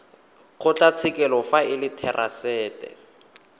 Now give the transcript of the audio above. kgotlatshekelo fa e le therasete